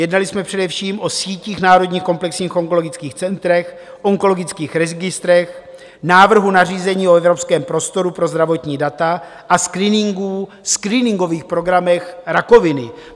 Jednali jsme především o sítích národních komplexních onkologických center, onkologických registrech, návrhu nařízení o evropském prostoru pro zdravotní data a screeningů, screeningových programech rakoviny.